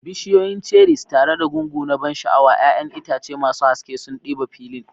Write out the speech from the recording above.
Bishiyoyin cherries tare da gungu na ban sha'awa, 'ya'yan itace masu haske sun ɗiba filin.